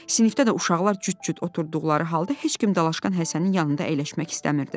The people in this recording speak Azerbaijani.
Sinifdə də uşaqlar cüt-cüt oturduqları halda heç kim Dalaşqan Həsənin yanında əyləşmək istəmirdi.